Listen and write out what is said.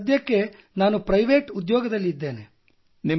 sir ಸದ್ಯಕ್ಕೆ ನಾನು private ಉದ್ಯೋಗದಲ್ಲಿದ್ದೇನೆ